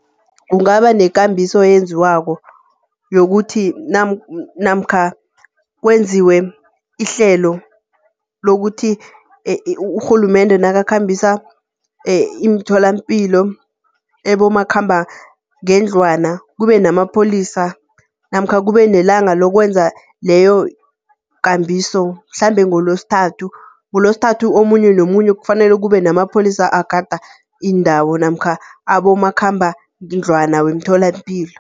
Kungaba nekambiso eyenziwako yokuthi namkha kwenziwe ihlelo, lokuthi urhulumende nakakhambisa imitholampilo ebomakhambangendlwana kube namapholisa. Namkha kubenelanga lokwenza leyokambiso mhlambe ngeLesithathu, ngeLesithathu omunye nomunye kufanele kube namapholisa agada indawo namkha abomakhamba ngendlwana wemtholampilo.